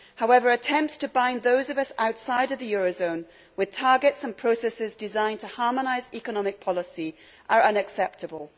However, attempts to bind those of us outside the euro zone with targets and processes designed to harmonise economic policy are unacceptable.